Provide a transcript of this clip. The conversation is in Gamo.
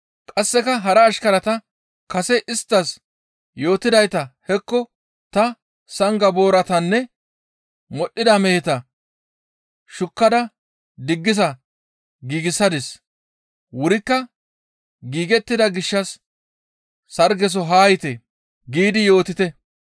«Qasseka hara ashkarata, ‹Kase isttas yootidayta hekko ta sanga booratanne modhdhida meheta shukkada diggisa giigsadis; wurikka giigettida gishshas sargeso haa yiite!› giidi yootite.